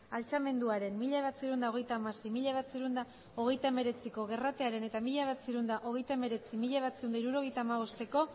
altxamenduaren mila bederatziehun eta hogeita hamasei mila bederatziehun eta hogeita hemeretziko gerratearen eta mila bederatziehun eta hogeita hemeretzi mila bederatziehun eta hirurogeita hamabostko